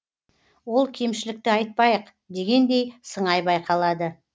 ол кемшілікті айтпайық дегендей сыңай байқалады